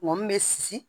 Mɔgɔ min bɛ si